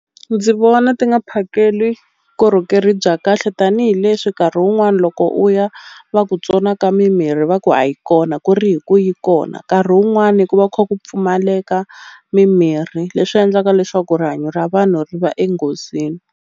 Ndzi vona ti nga phakeli bya kahle tanihileswi nkarhi wun'wani loko u ya va ku tsonaka mimirhi va ku a yi kona ku ri hi ku yi kona nkarhi wun'wani ku va kha ku pfumaleka mimirhi leswi endlaka leswaku rihanyo ra vanhu ri va enghozini.